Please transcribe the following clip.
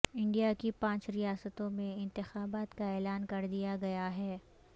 India کی پانچ ریاستوں میں انتخابات کا اعلان کر دیا گیا ہے